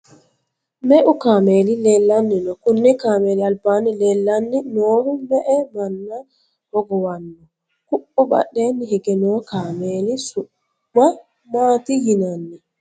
meu kaameeli leellanni no? kuni kaameeli albaanni leellanni noohu me'e manna hogowanno? ku'u badheenni hige noo kaameeli su'ma maati yinanni?